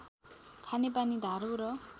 खानेपानी धारो र